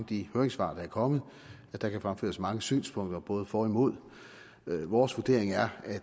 de høringssvar der er kommet for der kan fremføres mange synspunkter både for og imod vores vurdering er at det